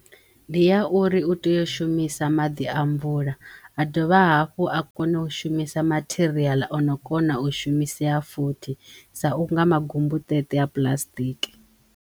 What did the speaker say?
Ndi ya uri u teyo u shumisa maḓi a mvula a dovha hafhu a kono u shumisa matheriaḽa ono kona u shumiseya futhi sa unga magumbutete a puḽasitiki.